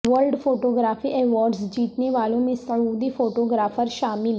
world photography awards جیتنے والوں میں سعودی فوٹوگرافر شامل